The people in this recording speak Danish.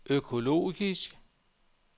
økologisk